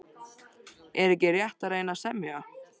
Er ekki rétt að reyna að semja?